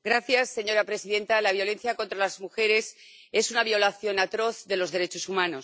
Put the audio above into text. Señora presidenta, la violencia contra las mujeres es una violación atroz de los derechos humanos.